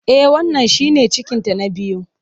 E, wannan shine cikinta na biyu.